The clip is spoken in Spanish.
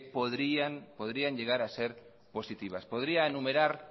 podrían llegar a ser positivas podría enumerar